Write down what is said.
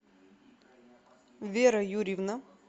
вера юрьевна